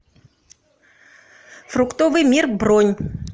фруктовый мир бронь